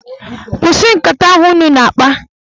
Kwụsị nkata ahụ ụnụ na-akpa!